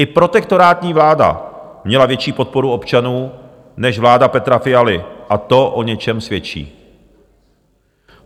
I protektorátní vláda měla větší podporu občanů než vláda Petra Fialy a to o něčem svědčí.